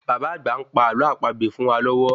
Baba àgbà ń pa àlọ àpagbè fún wá lọ́wọ́